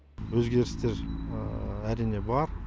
өзгерістер әрине бар